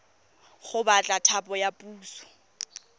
go batla thapo ya puso